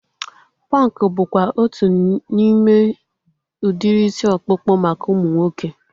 Punk bụkwa otu n'ime udiri isi ọkpụkpụ maka ụmụ nwoke